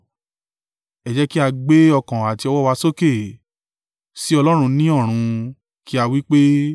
Ẹ jẹ́ kí a gbé ọkàn àti ọwọ́ wa sókè sí Ọlọ́run ní ọ̀run, kí a wí pé,